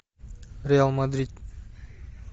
реал мадрид